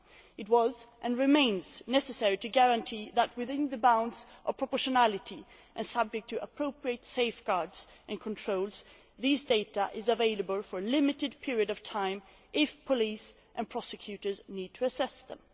It was, and remains, necessary to guarantee that, within the bounds of proportionality and subject to appropriate safeguards and controls, these data are available for a limited period of time if police and prosecutors need to assess them.